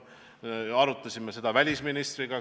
Arutasime seda välisministriga.